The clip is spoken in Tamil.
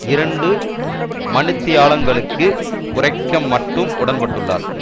இரண்டு மணி தியாலங்களுக்கு குறைக்க மட்டும் உடன்பட்டுள்ளார்